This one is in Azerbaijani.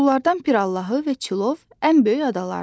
Bunlardan Pirallahı və Çilov ən böyük adalardır.